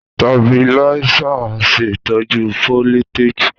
Tabiláísà ń ṣè tọ́jú fólítèjì